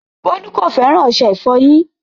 Bọlu kò fẹ́ran ọṣẹ̀-ìfọ́yin.